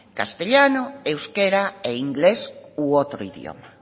castellano euskera e inglés u otro idioma